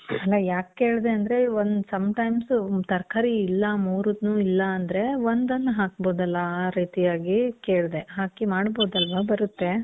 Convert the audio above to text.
ಅಲ್ಲ ಯಾಕ್ ಕೇಳ್ದೆ ಅಂದ್ರೆ, ಒಂದ್ sometimes ತರ್ಕಾರಿ ಇಲ್ಲ ಮೂರುನು ಇಲ್ಲ ಅಂದ್ರೆ ಒಂದನ್ನ್ ಹಾಕ್ಬೋದಲ್ಲಾ? ಆ ರೀತಿಯಾಗಿ ಕೇಳ್ದೆ. ಹಾಕಿ ಮಾದ್ಬೋದಲ್ವ? ಬರುತ್ತೆ.